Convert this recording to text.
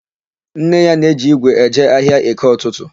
Nne ya na-eji ígwè eje ahịa EkeỤtụtụ.